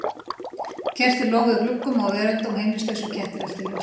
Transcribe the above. Kerti loguðu í gluggum og á veröndum og heimilislausir kettir eltu ljósið.